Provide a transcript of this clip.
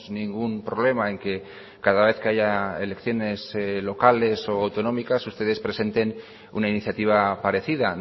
ningún problema en que cada vez que haya elecciones locales o autonómicas ustedes presenten una iniciativa parecida